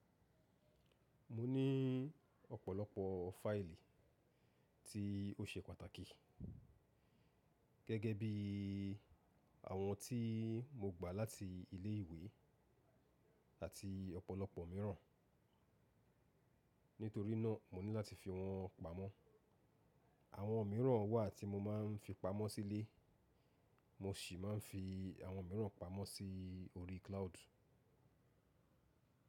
Mo ní ọ̀pọ̀lọpọ̀ fáìlì tí ó ṣe pàtàkì, gẹ́gẹ́ bí àwọn tí mo gbà láti ilé ìwé àti ọ̀pọ̀lọpọ̀ mìíràn, nítorí náà mo ní láti fi wọ́n pamọ́. Àwọn mìíràn wà tí mo máa ń fi pamọ́ sílé, mo sì máa ń fi àwọn mìíràn pamọ́ sí orí cloud.